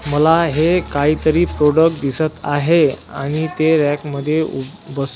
मला हे काहीतरी प्रॉडक्ट दिसत आहे आणि ते रॅक मध्ये बस--